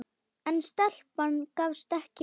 En stelpan gafst ekki upp.